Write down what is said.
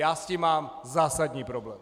Já s tím mám zásadní problém!